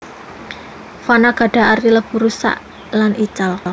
Fana gadah arti lebur rusak lan ical